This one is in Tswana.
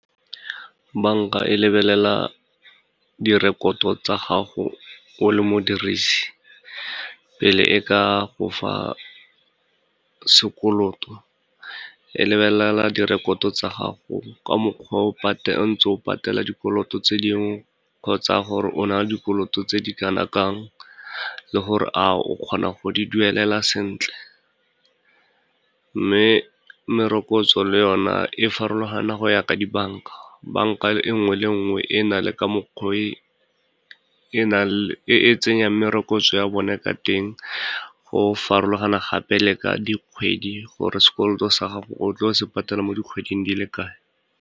Banka e lebelela direkoto tsa gago o le modirisi pele e ka go fa sekoloto, e lebelela direkoto tsa gago ka mokgwa o ntse o patela dikoloto tse dingwe kgotsa gore o na le dikoloto tse di kana kang le gore a o kgona go di duelela sentle. Mme merokotso le yona e farologana go ya ka dibanka, banka e nngwe le e nngwe e na le ka mokgwa o e e tsenyang merokotso ya one ka teng, go farologana gape le ka dikgwedi, gore sekoloto sa gago o tlo se patela mo dikgweding di le kae.